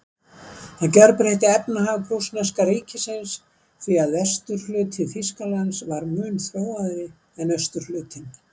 Það gjörbreytti efnahag prússneska ríkisins, því að vesturhluti Þýskalands var mun þróaðri en austurhlutinn.